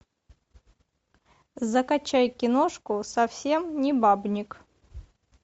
закачай киношку совсем не бабник